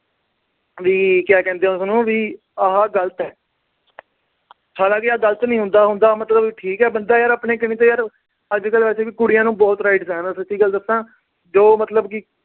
ਵੀ ਕਹਿੰਦੇ ਆ ਉਸਨੂੰ, ਆ ਗਲਤ ਆ। ਹਾਲਾ ਕੀ ਆਹ ਗਲਤ ਨੀ ਹੁੰਦਾ ਅਹ ਹੁੰਦਾ, ਮਤਲਬ ਬੰਦਾ ਠੀਕ ਆਪਣੇ ਕਨੀ ਤੋਂ ਯਾਰ, ਅੱਜ-ਕੱਲ੍ਹ ਕੁੜੀਆਂ ਨੂੰ ਬਹੁਤ rights ਆ, ਮੈਂ ਸੱਚੀ ਗੱਲ ਦੱਸਾ।